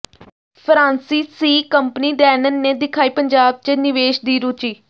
ਫਰਾਂਸੀਸੀ company Danone ਨੇ ਦਿਖਾਈ ਪੰਜਾਬ ਚ ਨਿਵੇਸ਼ ਦੀ ਰੁਚੀ